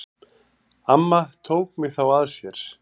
Amma tók mig þá að sér.